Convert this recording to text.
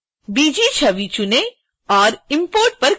bg छवि चुनें और import पर क्लिक करें